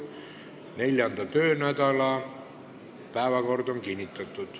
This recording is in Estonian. Neljanda töönädala päevakord on kinnitatud.